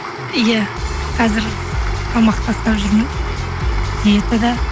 иә қазір салмақ тастап жүрмін диетада